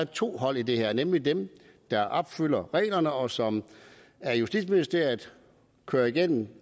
to hold i det her nemlig dem der opfylder reglerne og som justitsministeriet kører igennem